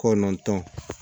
Kɔnɔntɔn